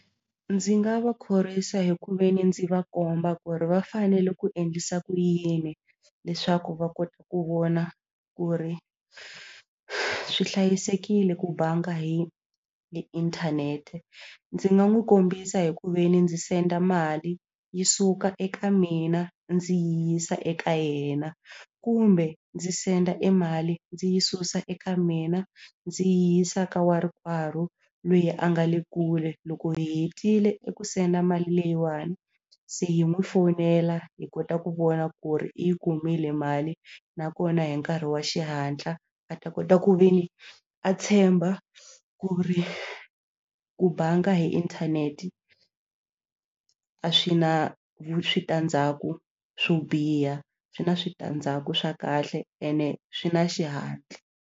Ndzi nga va khorwisa hi ku ve ni ndzi va komba ku ri va fanele ku endlisa ku yini leswaku va kota ku vona ku ri swi hlayisekile ku banga hi hi inthanete ndzi nga n'wi kombisa hi ku ve ni ndzi senda mali yi suka eka mina ndzi yi yisa eka yena kumbe ndzi send mali ndzi yi susa eka mina ndzi yi yisa ka eka lweyi a nga le kule loko hi hetile eku senda mali leyiwani se hi n'wi fowunela hi kota ku vona ku ri i yi kumile mali nakona hi nkarhi wa xihatla a ta kota ku ve ni a tshemba ku ri ku banga hi inthanete a swi na switandzhaku swo biha swi na switandzhaku swa kahle ene swi na xihatla.